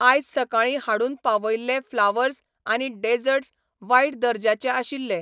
आयज सकाळीं हाडून पावयल्ले फ्लावर्स आनी डेजर्ट्स वायट दर्जाचे आशिल्ले.